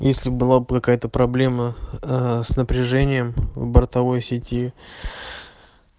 если была бы какая-то проблема ээ с напряжением в бортовой сети